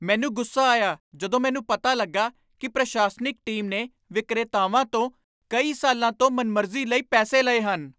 ਮੈਨੂੰ ਗੁੱਸਾ ਆਇਆ ਜਦੋਂ ਮੈਨੂੰ ਪਤਾ ਲੱਗਾ ਕਿ ਪ੍ਰਸ਼ਾਸਨਿਕ ਟੀਮ ਨੇ ਵਿਕਰੇਤਾਵਾਂ ਤੋਂ ਕਈ ਸਾਲਾਂ ਤੋਂ ਮਨਮਰਜ਼ੀ ਲਈ ਪੈਸੇ ਲਏ ਹਨ।